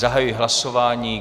Zahajuji hlasování.